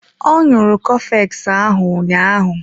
Ọ ṅụrụ cofex ahụ ụnyaahụ.